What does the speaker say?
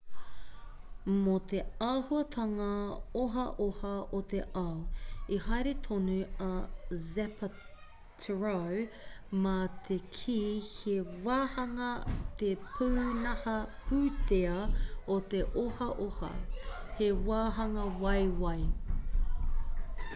mō te āhuatanga ohaoha o te ao i haere tonu a zapatero mā te kī he wāhanga te pūnaha pūtea o te ohaoha he wāhanga waiwai